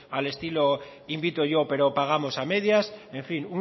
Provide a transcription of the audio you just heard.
al estilo de invito yo pero pagamos a medias en fin